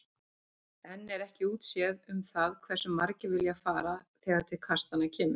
Enn er ekki útséð um það hversu margir vilja fara þegar til kastanna kemur.